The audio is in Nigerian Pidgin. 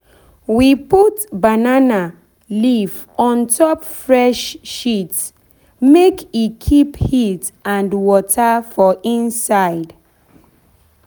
we put banana put banana leaf on top fresh shit make e keep heat and water for inside.